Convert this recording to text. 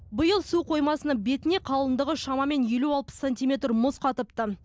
биыл су қоймасының бетіне қалыңдығы шамамен елу алпыс сантиметр мұз қатыпты